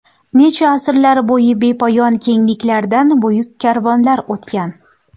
Necha asrlar bo‘yi bepoyon kengliklardan buyuk karvonlar o‘tgan.